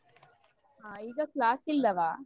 ಹಾ ಈಗ class ಇಲ್ಲವ?